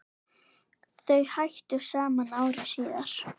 Þau hættu saman ári síðar.